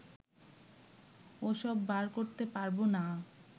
ওসব বার করতে পারবো না